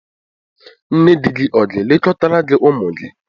Nne di ọ ga-elekọtara gị ụmụ gị?